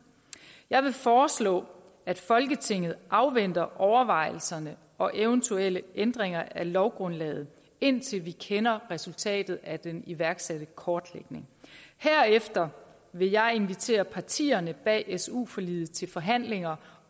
jeg vil foreslå at folketinget afventer overvejelserne og eventuelle ændringer af lovgrundlaget indtil vi kender resultatet af den iværksatte kortlægning herefter vil jeg invitere partierne bag su forliget til forhandlinger